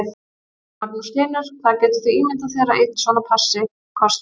Magnús Hlynur: Hvað getur þú ímyndað þér að einn svona passi kosti?